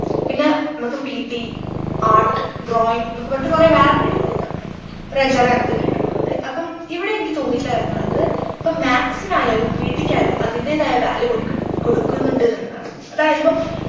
പിന്നെ മ്മക്ക് ptart drawing എന്നൊക്കെ പറഞ്ഞിട്ട് കൊറേ വേറെ period കളുണ്ട് ഒരു അഞ്ചാറ് അങ്ങനത്തെ period കളുമുണ്ട് അപ്പം ഇവിടെ എനിക്ക് തോന്നിയിട്ടുള്ള കാര്യംന്നു പറഞ്ഞത് ഇപ്പം maths നായാലും pt ക്ക് ആയാലും അതിന്റെതായ value കൊടുക്ക് നുണ്ട് കൊടുക്കുന്നുണ്ടന്നുള്ളതാണ് അതായതിപ്പോ